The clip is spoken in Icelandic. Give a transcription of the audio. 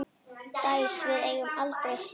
Dæs, við eigum aldrei séns!